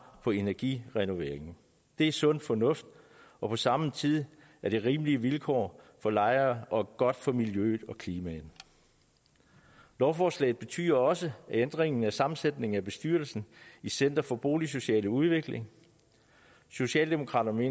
på energirenoveringen det er sund fornuft og på samme tid rimelige vilkår for lejerne og godt for miljøet og klimaet lovforslaget betyder også en ændring af sammensætningen af bestyrelsen i center for boligsocial udvikling socialdemokraterne